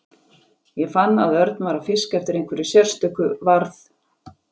Ég fann að Örn var að fiska eftir einhverju sérstöku varð